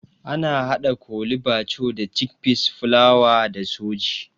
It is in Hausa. Ana haɗa Kole bathure da cikpeas, fulawa da sooji